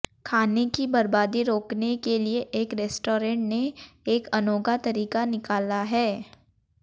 खाने की बर्बादी रोकने के लिए एक रेस्टोरेंट ने एक अनोखा तरीका निकाला है